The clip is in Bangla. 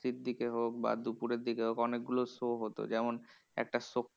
র দিকে হোক বা দুপুরের দিকে হোক অনেকগুলো show হতো। যেমন একটা